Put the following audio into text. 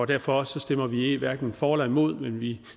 derfor stemmer vi hverken for eller imod vi